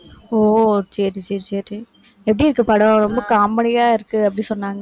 ஓ, சரி, சரி சரி எப்படி இருக்கு படம்? ரொம்ப comedy யா இருக்கு அப்படி சொன்னாங்க